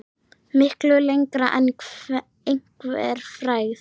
Miklu lengra en einhver frægð.